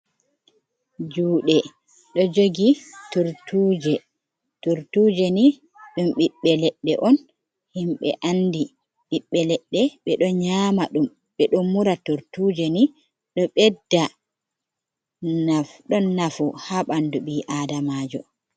Juuɗe ɗo jogi turtuje. Turtuje ni ɗum ɓiɓɓe leɗɗe on, himɓe andi ɓiɓɓe leɗɗe. Ɓe ɗo nyaama ɗum, ɓe ɗo mura, turtuje ni ɗo ɓedda, naf ɗon nafu haa ɓandu ɓi aadamaajo.